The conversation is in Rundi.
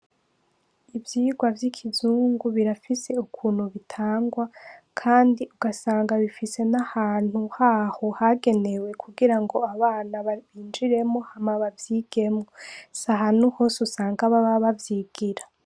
Ivyigwa vy' ikizungu birafise ukuntu bitangwa kandi ugasanga bifise n' ahantu haho hagenewe kugira ngo abana binjiremwo hama bavyigemwo, s’ahantu hose usanga bavyigira.